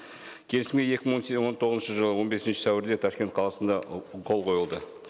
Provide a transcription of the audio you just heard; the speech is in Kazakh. келісімге екі мың он он тоғызыншы жылы он бесінші сәуірде ташкент қаласында қол қойылды